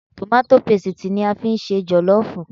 Tòmátó pesìtì ni a fi ń ṣe jọ̀lọ́ọ̀fù